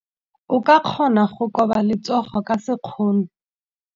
O ka kgona go koba letsogo ka sekgono.